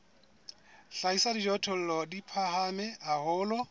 hlahisa dijothollo di phahame haholo